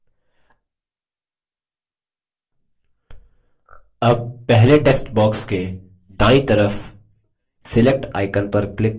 अब पहले text box के दायीं तरफ select icon पर click करें